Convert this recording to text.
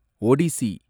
Odissi